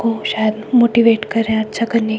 वो शायद मोटिवेट कर रहे हैं अच्छा करने--